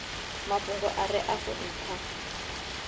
mafhungo a re afho ntha